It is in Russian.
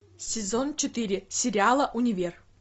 сезон четыре сериала универ